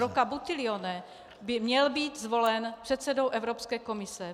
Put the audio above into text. Rocco Buttiglione by měl být zvolen předsedou Evropské komise.